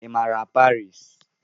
Ị mara Parii?